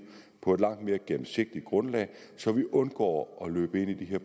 på et langt mere gennemsigtigt grundlag så vi undgår at løbe ind i